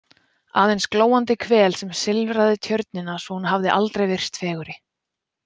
Aðeins glóandi hvel sem silfraði tjörnina svo hún hafði aldrei virst fegurri.